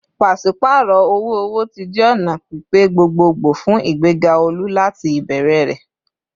Paṣipaarọ owo-owo ti jẹ ọna pipe gbogbogbo fun igbega olu lati ibẹrẹ rẹ